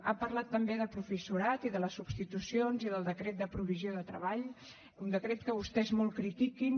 ha parlat també de professorat i de les substitucions i del decret de provisió de treball un decret que vostès molt critiquen